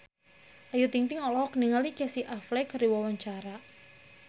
Ayu Ting-ting olohok ningali Casey Affleck keur diwawancara